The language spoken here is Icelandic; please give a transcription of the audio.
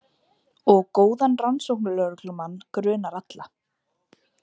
Og góðan rannsóknarlögreglumann grunar alla.